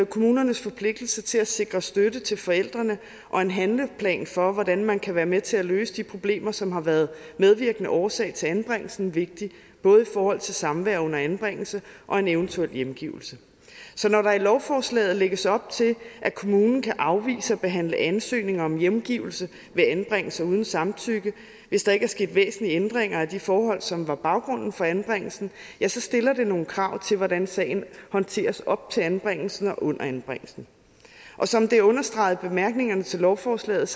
kommunernes forpligtelse til at sikre støtte til forældrene og en handleplan for hvordan man kan være med til at løse de problemer som har været medvirkende årsag til anbringelsen vigtig både i forhold til samvær under anbringelsen og en eventuel hjemgivelse så når der i lovforslaget lægges op til at kommunen kan afvise at behandle ansøgninger om hjemgivelse ved anbringelser uden samtykke hvis der ikke er sket væsentlige ændringer af de forhold som var baggrunden for anbringelsen ja så stiller det nogle krav til hvordan sagen håndteres op til anbringelsen og under anbringelsen og som det er understreget i bemærkningerne til lovforslaget